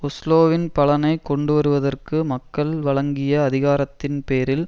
ஒஸ்லோவின் பலனை கொண்டுவருவதற்கு மக்கள் வழங்கிய அதிகாரத்தின் பேரில்